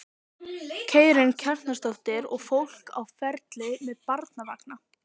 Karen Kjartansdóttir: Og fólk á ferli með barnavagna?